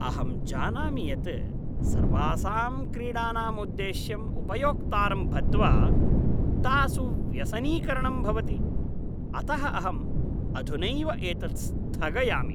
अहं जानामि यत् सर्वासां क्रीडाणाम् उद्देश्यम् उपयोक्तारं बद्ध्वा तासु व्यसनीकरणं भवति, अतः अहम् अधुनैव एतत् स्थगयामि।